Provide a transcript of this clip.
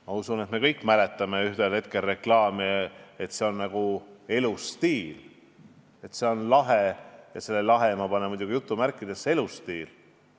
Ma usun, et me kõik mäletame reklaame, et see on nagu elustiil, et see on "lahe" – selle ma panen jutumärkidesse – elustiil.